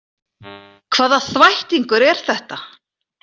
Hvaða þvættingur er þetta?